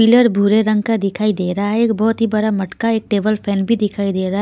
Pillar भूरे रंग का दिखाई दे रहा है एक बहुत ही बड़ा मटका एक टेबल फैन भी दिखाई दे रहा है.